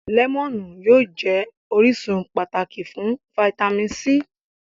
Lẹ́mọ̀nù yóò jẹ́ orísun pàtàkì fún fáítámì C